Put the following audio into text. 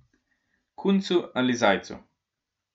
Kuncu ali zajcu.